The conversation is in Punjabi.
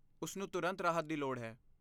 ਉਸ ਨੂੰ ਤੁਰੰਤ ਰਾਹਤ ਦੀ ਲੋੜ ਹੈ।